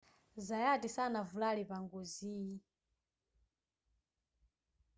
zayati sanavulale pa ngoziyi